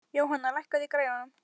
Jóhanna, lækkaðu í græjunum.